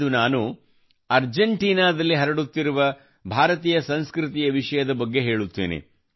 ಇಂದು ನಾನು Argentinaದಲ್ಲಿ ಹರಡುತ್ತಿರುವ ಭಾರತೀಯ ಸಂಸ್ಕೃತಿಯ ವಿಷಯದ ಬಗ್ಗೆ ಹೇಳುತ್ತೇನೆ